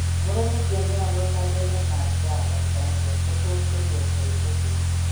Murenik che mnyandos ak renal nutcracker syndrome kotos konyor varicocele.